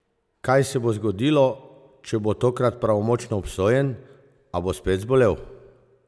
Kaj se bo zgodilo, če bo tokrat pravnomočno obsojen, a bo spet zbolel?